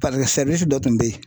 paseke sɛriwisi dɔ tun be yen